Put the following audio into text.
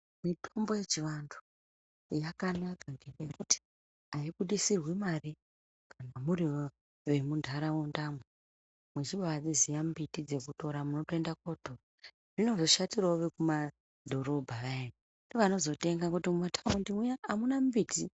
Mitombo yechivantu yakanaka ngekuti haibuditsirwi mari kana muri vemuntaraunda muchibaziva mbiti dzekutira munotoenda kunotora, zvinozoshatirawo vekumadhorobha vaya ndivo vanozotenga kutomboti vantu hamuna mbiti.